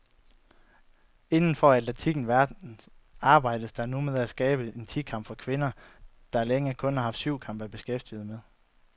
Inden for atletikkens verden arbejdes der nu med at skabe en ti kamp for kvinder, der længe kun har haft syvkamp at beskæftige med.